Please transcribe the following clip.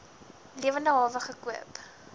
lewende hawe gekoop